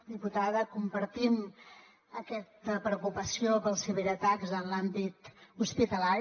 diputada compartim aquesta preocupació pels ciberatacs en l’àmbit hospitalari